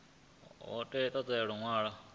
hu ḓo ṱo ḓea luṅwalo